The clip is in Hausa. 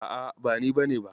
A'a, ba ni bane ba.